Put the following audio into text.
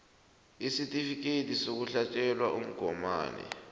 isitifikhethi sokuhlatjelwa umgomani